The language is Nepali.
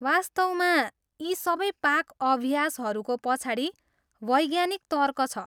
वास्तवमा यी सबै पाक अभ्यासहरूको पछाडि वैज्ञानिक तर्क छ।